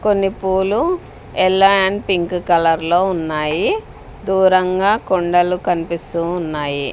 కొన్ని పూలు yellow and pink colour లో ఉన్నాయి దూరంగా కొండలు కన్పిస్తూ ఉన్నాయి.